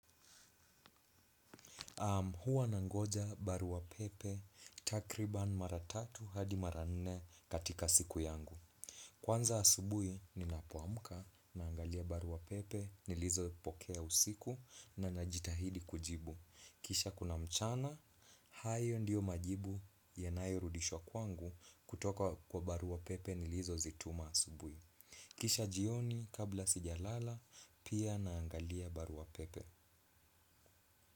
Hua nangoja baruwa pepe takriban mara tatu hadi mara nne katika siku yangu. Kwanza asubui ninapoamuka naangalia baruwa pepe nilizopokea usiku na najitahidi kujibu. Kisha kuna mchana, hayo ndiyo majibu yanayurudishwa kwangu kutoka kwa baruwa pepe nilizozituma asubui. Kisha jioni kabla sijalala pia naangalia baruwa pepe.